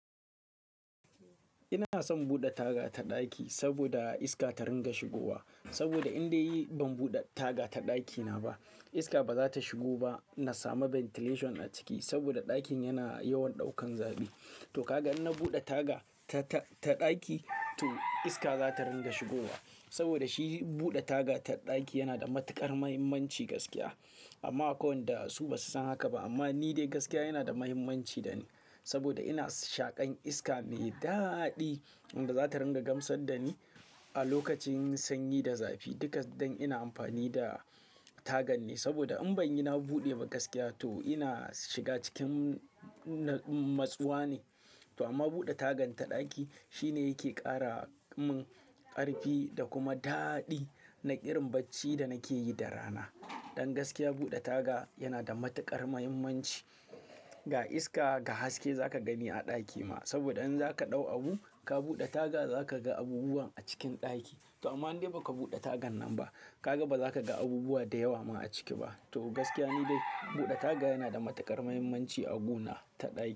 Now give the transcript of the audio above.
Ina son buɗe taga ta ɗaki saboda iska ta ringa shigowa. Saboda in dai yi ban buɗe taga ta ɗakina ba iska ba za ta shigo ba. Na samu ventilation a ciki saboda ɗakin yana yawan ɗaukan zafi. To kaga in na buɗe taga ta, ta, ta ɗaki, to iska za ta ringa shigowa. Saboda shi buɗe taga ta ɗaki yana da matuƙar muhimmanci gaskiya. Amma akwai wanda su ba su san haka ba. Amma ni dai gaskiya yana da muhimmanci dani saboda ina shaƙan iska mai daɗi wanda za ta ringa gamsar da ni a lokacin sanyi da zafi. Duk da ina amfani da tagan ne saboda in ban yi na buɗe ba gaskiya to ina shiga cikin nadum matsuwa ne. To amma buɗe tagan ta ɗaki shine yake ƙara mun ƙarfi da kuma daɗi na irin bacci da nake yi da rana. Don gaskiya buɗe taga yana da matuƙar muhimmanci ga iska, ga haske za ka gani a ɗaki ma. Saboda in za ka ɗau abu ka buɗe taga za ka ga abubuwa a cikin ɗaki. To amma in dai ba ka buɗe tagan nan ba ka ga ba za ka ga abubuwa da yawa ma a ciki ba. To gaskiya ni dai buɗe taga yana da matuƙar muhimmanci a gona ta ɗaki.